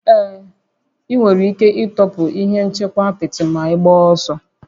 Ee, ị nwere ike ịtọpụ ihe nchekwa apịtị ma ịgbaa ọsọ